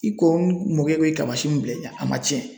I ko n mɔkɛ bɛ kabasi min bila i ɲɛ a ma cɛn